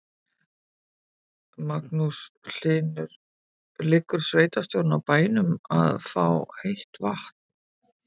Magnús Hlynur: Liggur sveitarstjórinn á bænum að fá heitt vatn?